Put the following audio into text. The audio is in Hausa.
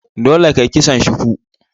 Dole ka yi kison shuku!